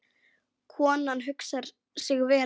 Konan hugsar sig vel um.